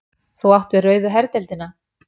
Þú átt við rauðu herdeildina.